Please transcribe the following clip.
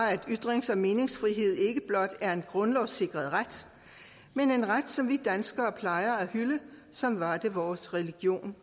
er at ytrings og meningsfrihed ikke blot er en grundlovssikret ret men en ret som vi danskere plejer at hylde som var det vores religion